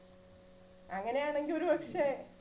അങ്ങനെയാണെങ്കിൽ ഒരു പക്ഷേ